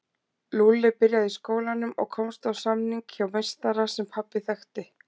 Lúlli byrjaði í skólanum og komst á samning hjá meistara sem pabbi þekkti.